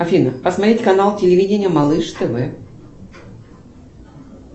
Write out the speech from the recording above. афина посмотреть канал телевидения малыш тв